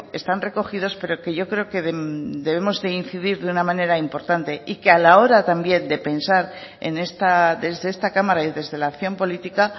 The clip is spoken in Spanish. están recogidos pero que yo creo que debemos de incidir de una manera importante y que a la hora también de pensar desde esta cámara y desde la acción política